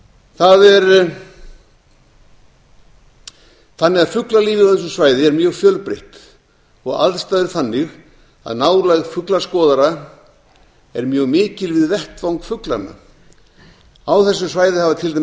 það er þannig að fuglalífið á þessu svæði er mjög fjölbreytt og aðstæður þannig að nálægð fuglaskoðara er mjög mikil við vettvang fuglanna á þessu svæði hafa til